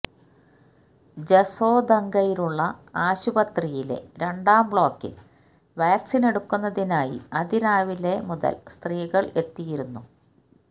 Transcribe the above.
ജസോദംഗയിലുള്ള ആശുപത്രിയിലെ രണ്ടാം ബ്ലോക്കില് വാക്സിനെടുക്കുന്നതിനായി അതിരാവിലെ മുതല് സ്ത്രീകള് എത്തിയിരുന്നു